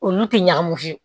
Olu tɛ ɲagami